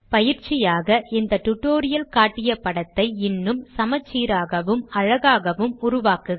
பயிற்சியாக இந்த டியூட்டோரியல் காட்டிய படத்தை இன்னும் சமச்சீராகவும் அழகாகவும் உருவாக்குக